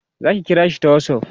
zaki kira shi ta whatsapp?